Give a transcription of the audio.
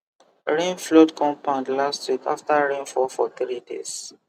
rain flood compound last week after rain fall for three days